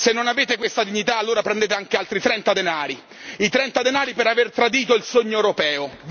Se non avete questa dignità, allora prendete anche altri trenta denari, i trenta denari per aver tradito il sogno europeo.